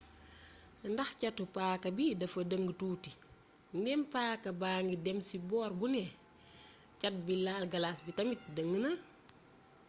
ndax catu paaka bi dafa dëng tuuti ndéem paaka baangi dém ci boor bu né cat biy laal galas bi tamit dëng na